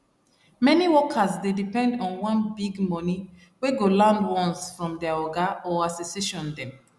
many workers dey depend on one big money wey go land once from their oga or association dem